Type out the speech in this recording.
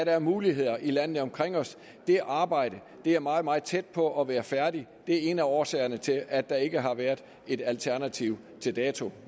er af muligheder i landene omkring os det arbejde er meget meget tæt på at være færdigt det er en af årsagerne til at der ikke har været et alternativ til dato